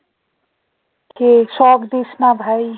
কে shock দিস না ভাই